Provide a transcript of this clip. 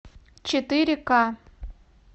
четыре ка